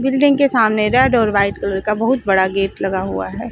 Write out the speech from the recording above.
Building के सामने red और वाइट कलर का बहुत बड़ा गेट लगा हुआ है।